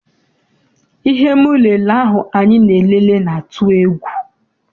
Ihe m lele ahụ anyị na-elele na-atụ egwu.